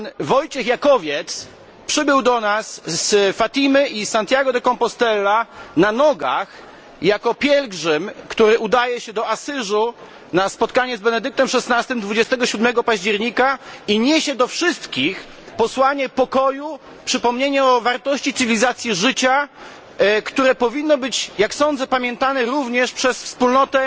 Wojciech Jakowiec przybył do nas z Fatimy i Santiago de Compostela na nogach, jako pielgrzym, który udaje się do Asyżu na spotkanie z Benedyktem XVI dnia 27 października i niesie wszystkim przesłanie pokoju, przypomnienie o wartości cywilizacji życia, które powinno być jak sądzę pamiętane również przez wspólnotę